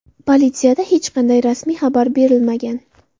Politsiyada hech qanday rasmiy xabar berilmagan.